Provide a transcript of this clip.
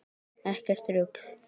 Ekkert rugl.